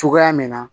Cogoya min na